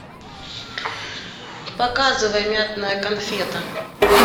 показывай мятная конфета